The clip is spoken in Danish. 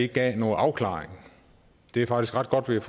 gav noget afklaring det er faktisk ret godt vi